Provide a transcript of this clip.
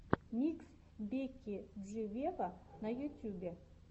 микс бекки джи вево на ютьюбе